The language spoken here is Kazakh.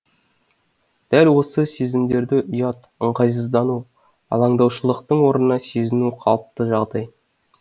дәл осы сезімдерді ұят ыңғайсыздану алаңдаушылықтың орнына сезіну қалыпты жағдай